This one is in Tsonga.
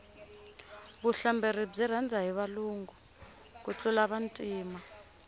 vuhlamberi byi rhandza hi valungu ku tlula vantima